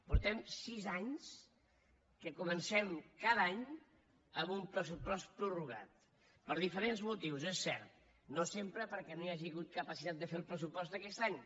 fa sis anys que comencem cada any amb un pressupost prorrogat per diferents motius és cert no sempre perquè no hi hagi hagut capacitat de fer el pressupost aquest any